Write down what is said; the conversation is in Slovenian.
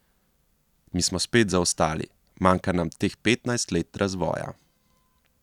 Mi smo spet zaostali, manjka nam teh petnajst let razvoja.